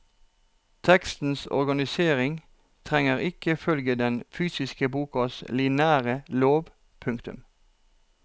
Tekstens organisering trenger ikke følge den fysiske bokas lineære lov. punktum